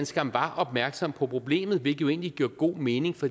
skam var opmærksom på problemet hvilket jo egentlig giver god mening for